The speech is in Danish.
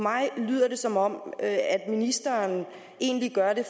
mig lyder det som om ministeren egentlig gør det